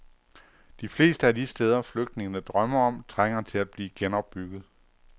De fleste af de steder, flygtningene drømmer om, trænger til at blive genopbygget.